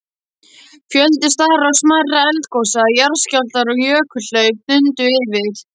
Fjöldi stærri og smærri eldgosa, jarðskjálftar og jökulhlaup dundu yfir.